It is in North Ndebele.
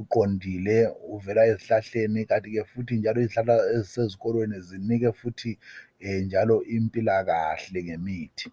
oqondileyo ovela ezihlahleni kanti ke futhi izihlahla ezisezikolweni zinike futhi impilakahle ngemithi.